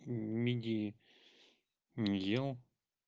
мидии не ел